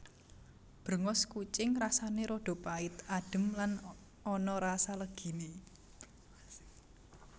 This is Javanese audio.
Bréngos kucing rasané rada pait adhem lan ana rasa leginé